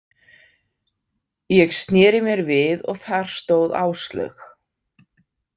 Ég sneri mér við og þar stóð Áslaug.